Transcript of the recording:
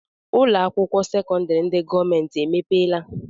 Ụlọakwụkwọ sekọndịrị ndị gọọmenti emepeela?